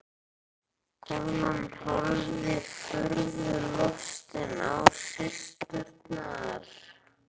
Konan horfði furðu lostin á systurnar.